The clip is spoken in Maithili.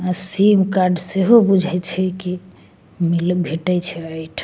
अ सिम कार्ड सेहो बुझाय छै कि मिल भेंटे छै एठा।